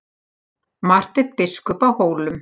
MARTEINN BISKUP Á HÓLUM